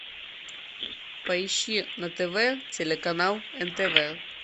поищи на тв телеканал нтв